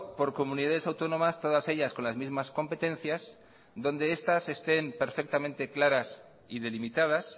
por comunidades autónomas todas ellas con las mismas competencias donde estas estén perfectamente claras y delimitadas